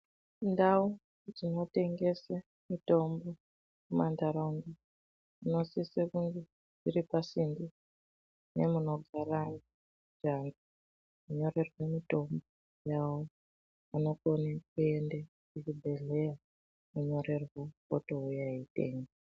Ndau dzinotengese mitombo mumantaraunda dzinosise kunge dziri pasinde nemunogara anhu onyorerwe mitombo yavo anokona kuende kuchibhehleya onyorerwa otouya eitenga.